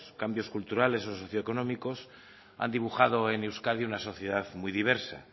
cambios culturales o socioeconómicos han dibujado en euskadi una sociedad muy diversa